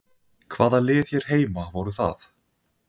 Hvaða lið hér heima voru það?